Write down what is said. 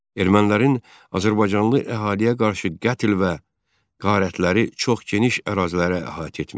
Ermənilərin azərbaycanlı əhaliyə qarşı qətl və qarətləri çox geniş ərazilərə əhatə etmiş.